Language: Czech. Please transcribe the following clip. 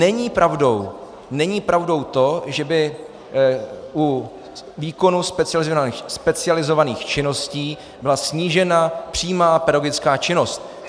Není pravdou, není pravdou to, že by u výkonu specializovaných činností byla snížena přímá pedagogická činnost.